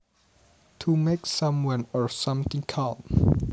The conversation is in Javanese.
To make someone or something calm